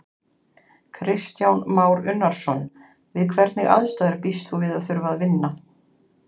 Kristján Már Unnarson: Við hvernig aðstæður býst þú við að þurfa að vinna?